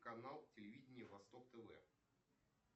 канал телевидения восток тв